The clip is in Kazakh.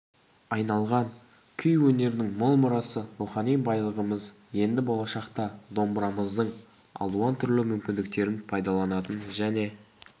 айналған күй өнерінің мол мұрасы рухани байлығымыз енді болашақта домбырамыздың алуан түрлі мүмкіндіктерін пайдаланатын және